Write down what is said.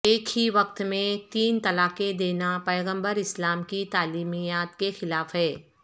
ایک ہی وقت میں تین طلاقیں دینا پیغمبر اسلام کی تعلیمات کے خلاف ہے